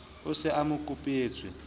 o se a mo kopetswe